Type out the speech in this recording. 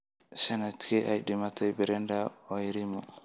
Sanadkee ayay dhimatay Brenda Wairimu?